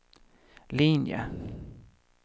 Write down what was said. linje